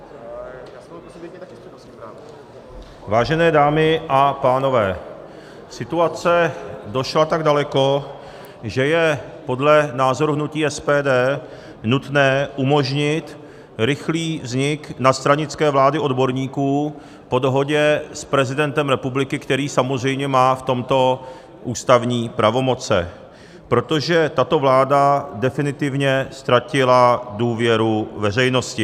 Vážené dámy a pánové, situace došla tak daleko, že je podle názoru hnutí SPD nutné umožnit rychlý vznik nadstranické vlády odborníků po dohodě s prezidentem republiky, který samozřejmě má v tomto ústavní pravomoce, protože tato vláda definitivně ztratila důvěru veřejnosti.